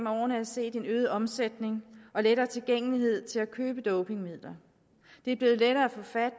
årene er set en øget omsætning af og lettere tilgængelighed til køb af dopingmidler det er blevet lettere at få fat